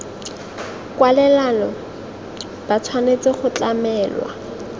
kwalelano ba tshwanetse go tlamelwa